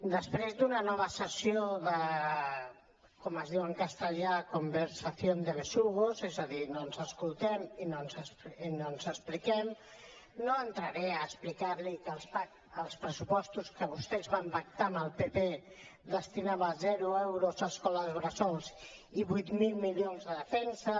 després d’una nova sessió de com es diu en castellà conversación de besugos és a dir no ens escoltem i no ens expliquem no entraré a explicar li que els pressupostos que vostès van pactar amb el pp destinaven zero euros a escoles bressol i vuit mil milions a defensa